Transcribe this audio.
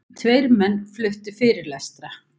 Tveir menn fluttu fyrirlestra.